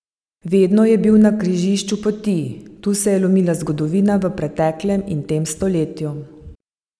Vedno je bil na križišču poti, tu se je lomila zgodovina v preteklem in tem stoletju.